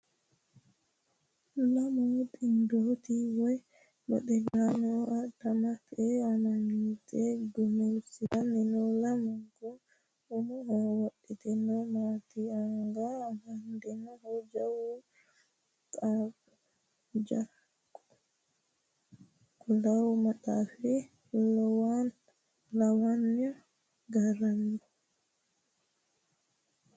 Lamu xindopti woyi baxillaano adhamate amnyoote gumulsiissanni no. Lamunku umoho wodhitinohu maati ? Anga amandohu jawu qullaawa maxaaffa lawanni garago ?